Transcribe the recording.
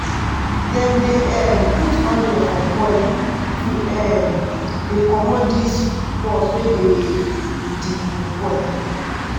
dem dey um put onion for boil to um dey comot dis pus wey dey di boil.